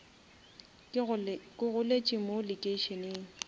ke goletše mo lekeišeneng